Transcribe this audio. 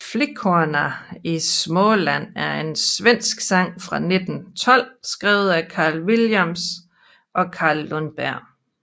Flickorna i Småland er en svensk sang fra 1912 skrevet af Karl Williams og Karl Lundberg